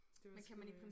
Det var sgu øh